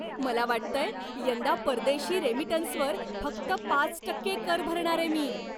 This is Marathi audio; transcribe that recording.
मला वाटतंय, यंदा परदेशी रेमिटन्सवर फक्त पाच टक्के कर भरणारे मी.